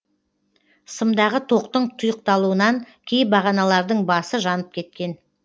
сымдағы тоқтың тұйықталуынан кей бағаналардың басы жанып кеткен